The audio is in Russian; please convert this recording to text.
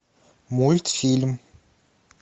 мультфильм